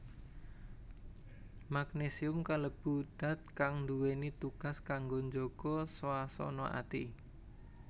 Magnésium kalebu dat kang nduwèni tugas kanggo njaga swasana ati